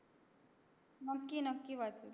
नक्की नक्की वाचेल मी